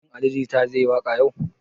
Shin Ali jita zai yi waƙa yau?